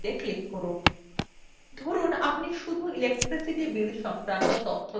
ধরুন আপনি শুধু electricity bill সংক্রান্ত তথ্য দেখতে চাইছেন